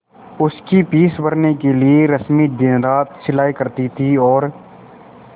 उसकी फीस भरने के लिए रश्मि दिनरात सिलाई करती थी और